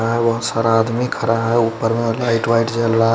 बहत सारा आदमी खड़ा है ऊपर में लाइट वाइट जल रहा है।